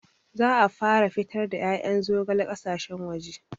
Za a fara fitar da ƴaƴan zogale ƙasashen waje